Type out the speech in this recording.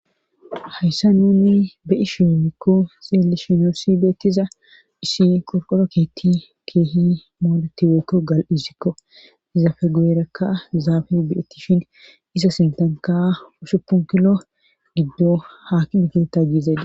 hayssa nunni be ishi weykko xeelishinoosi beettiza issi qorqoro keetti keehi mooletiweykko gal7isikko iza fe gueerakka zaafe bietti shin isa sintanka usupunkilo giddo hakime keta giizeeda